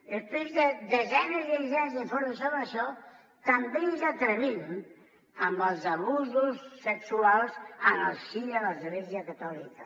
després de desenes i desenes d’informes sobre això també ens atrevim amb els abusos sexuals en el si de l’església catòlica